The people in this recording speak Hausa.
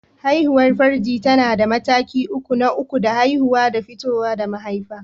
Haihuwar farji tana da mataki uku: Naƙuda, Haihuwa da fito da mahaifa.